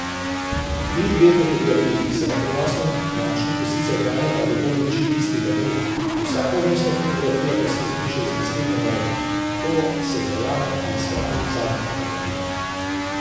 Ti dve fotografiji se na prenosnem dlančniku sicer hranita do polnoči istega dne, vsaka vmesna fotografija pa se izbriše z naslednjo narejeno, ko se zajame in shrani zadnja fotografija.